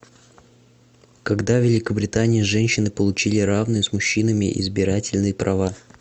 когда в великобритании женщины получили равные с мужчинами избирательные права